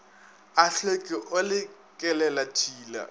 a tlhweki o le kelelatshila